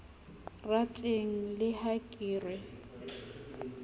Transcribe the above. rateng le ha ke re